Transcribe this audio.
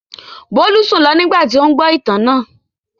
Bólú sùn lọ nígbà tí ó ń gbọ́ ìtàn náà.